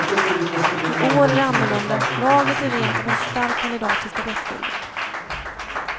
I år är det annorlunda, laget är rent av en stark kandidat till stafettguldet.